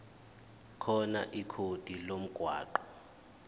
khona ikhodi lomgwaqo